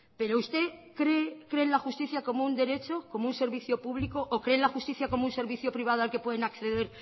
pero usted cree en la justicia como un derecho como un servicio público o cree en la justicia como un servicio privado al que pueden acceder